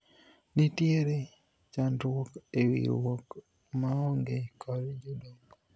nitiere chandruok e riwruok maonge kod jodongo